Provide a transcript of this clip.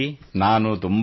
ತಾವು ಹೇಗಿದ್ದೀರಿ